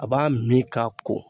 A b'a min k'a ko